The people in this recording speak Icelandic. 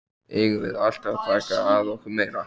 Eigum við alltaf að taka að okkur meira?